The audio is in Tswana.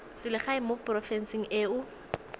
selegae mo porofenseng e o